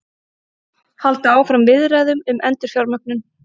Halda áfram viðræðum um endurfjármögnun